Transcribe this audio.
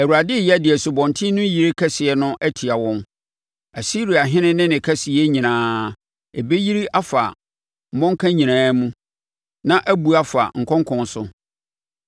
Awurade reyɛ de Asubɔnten no yire kɛseɛ no atia wɔn, Asiriahene ne ne kɛseyɛ nyinaa. Ɛbɛyiri afa ne mmɔnka nyinaa mu, na abu afa ne nkonkɔn so